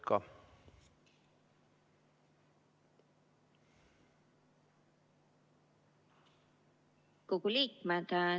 Lugupeetud Riigikogu liikmed!